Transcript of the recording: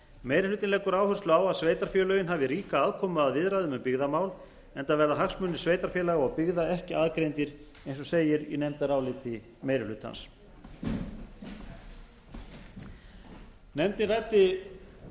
meiri hlutinn leggur áherslu að að sveitarfélögin hafi ríka aðkomu að viðræðum um byggðamál enda verða hagsmunir sveitarfélaga og byggða ekki aðgreindir eins og segir í nefndaráliti meiri hlutans nefndin ræddi